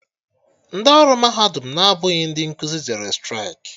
Ndị ọrụ mahadum na-abụghị ndị nkuzi jere straịkị